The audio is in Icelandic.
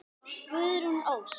Guðrún Ósk.